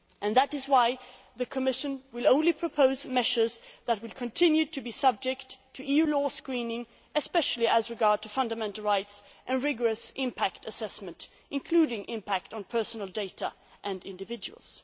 and sustainable. That is why the Commission will only propose measures that will continue to be subject to EU law screening, especially with regard to fundamental rights and rigorous impact assessment, including the impact on personal data